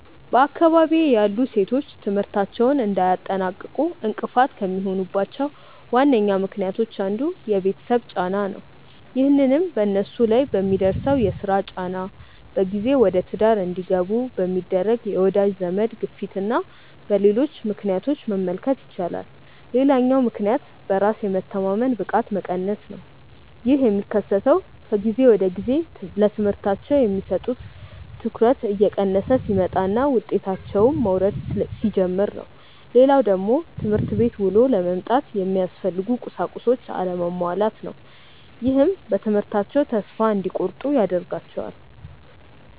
በአካባቢዬ ያሉ ሴቶች ትምህርታቸውን እንዳያጠናቅቁ እንቅፋት ከሚሆኑባቸው ዋነኛ ምክንያቶች አንዱ የቤተሰብ ጫና ነው። ይህንንም በነሱ ላይ በሚደርሰው የስራ ጫና፣ በጊዜ ወደትዳር እንዲገቡ በሚደረግ የወዳጅ ዘመድ ግፊትና በሌሎች ምክንያቶች መመልከት ይቻላል። ሌላኛው ምክንያት በራስ የመተማመን ብቃት መቀነስ ነው። ይህ የሚከሰተው ከጊዜ ወደጊዜ ለትምህርታቸው የሚሰጡት ትኩረት እየቀነሰ ሲመጣና ውጤታቸውም መውረድ ሲጀምር ነው። ሌላው ደግሞ ትምህርት ቤት ውሎ ለመምጣት የሚያስፈልጉ ቁሳቁሶች አለመሟላት ነው። ይህም በትምህርታቸው ተስፋ እንዲቆርጡ ያደርጋቸዋል።